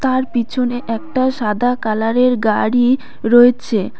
তার পিছনে একটা সাদা কালারের গাড়ি রয়েছে।